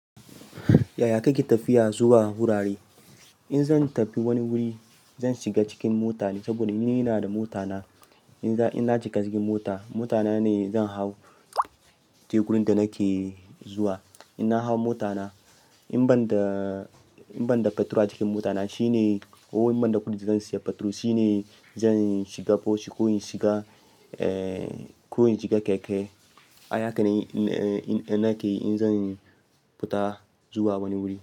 Yaya kake tafiya zuwa wurare? In zan tafi wani wuri zan shiga cikin mota ne saboda ni ina da mota na. In na cika cikin mota motana ne zan hau tekun da nake zuwa. In na hau mota na, in ban da- in ban da fetur a cikin mota na shine ko in ban da kuɗi zan saya fetur shine zan shiga bos shi ko in shiga, eh, ko in shiga keke. Ai haka ne, nake in zan fita zuwa wani wuri.